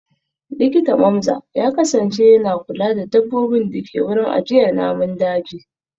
Likita Mamza ya kasance yana kula da dabbobin da ke wurin ajiyar namun daji